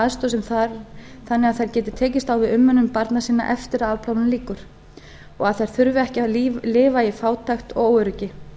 aðstoð sem þarf þannig að þær geti tekist á við umönnun barna sinna eftir að afplánun lýkur og að þær þurfi ekki að lifa í fátækt og óöryggi